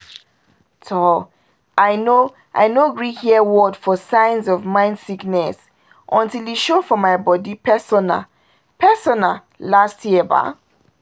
toh! i no i no gree hear word for signs of mind sickness until e show for my body personal-personal last year ba